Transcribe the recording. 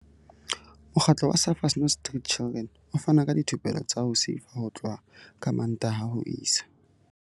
Mokgatlo wa Surfers Not Street Chidren o fana ka dithupelo tsa ho sefa ho tloha ka Mmantaha ho isa.